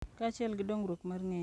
Kaachiel gi dongruok mar ng’eyo,